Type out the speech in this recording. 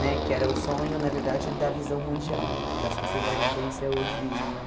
né que era o sonho, na verdade, da visão mundial, que acho que vocês devem conhecer a World Vision, né?